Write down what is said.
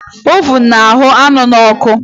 Ovun na-ahụ́ anụ n'ọkụ